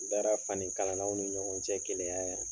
Baara fanikalanaw ni ɲɔgɔn cɛ kelenya yan